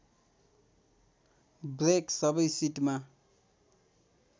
brake सबै सिटमा